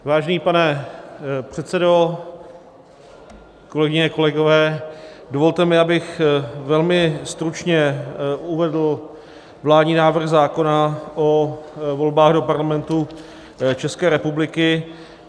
Vážený pane předsedo, kolegyně, kolegové, dovolte mi, abych velmi stručně uvedl vládní návrh zákona o volbách do Parlamentu České republiky.